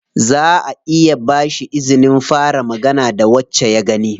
Zaʼa iya ba shi izinin fara magana da wacce ya gani.